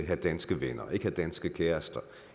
have danske venner ikke have danske kærester